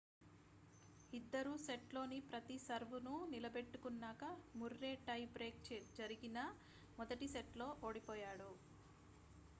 ఇద్దరూ సెట్లోని ప్రతి సర్వ్ను నిలబెట్టుకున్నాక ముర్రే టై బ్రేక్ జరిగిన మొదటి సెట్లో ఓడిపోయాడు